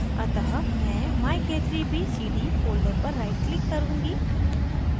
अतः मैं myk3bcd folder पर right click करुँगी